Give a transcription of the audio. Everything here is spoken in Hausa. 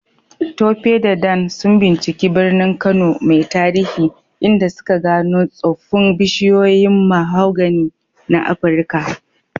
Tope da Dan sun binciki birnin Kano mai tarihi, inda suka gano tsoffin bishiyoyin mahogany na Afirka.